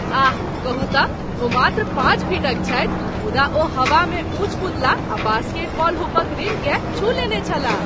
आह, कहू तँ, ओ मात्र पाँच फीटक छथि मुदा ओ हवामे ऊँच कूदलाह आ बास्केटबॉल हुपक रिमकेँ छू लेने छलाह।